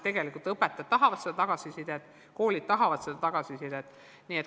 Õpetajad tahavad tagasisidet, koolid tahavad tagasisidet.